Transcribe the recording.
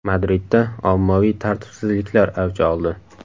Madridda ommaviy tartibsizliklar avj oldi.